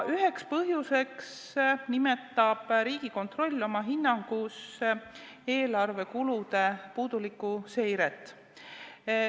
Üheks põhjuseks nimetab Riigikontroll oma hinnangus eelarve kulude puudulikku seiret.